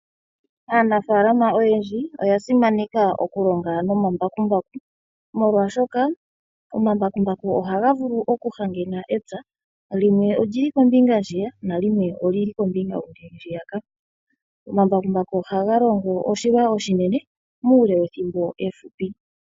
Aanafaalama oyendji oya simaneka nokulonga nomambakumbaku molwashoka omambakumbaku ohaga vulu oku hangena epya, limwe olili kombinga ndjiya yimwe nalimwe olili kombinga yohuke ndjiya ka ,omambakumbaku ohaga longo oshilwa oshinene muule wethimbo efupi.